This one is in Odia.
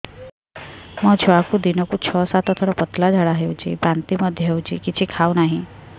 ମୋ ଛୁଆକୁ ଦିନକୁ ଛ ସାତ ଥର ପତଳା ଝାଡ଼ା ହେଉଛି ବାନ୍ତି ମଧ୍ୟ ହେଉଛି କିଛି ଖାଉ ନାହିଁ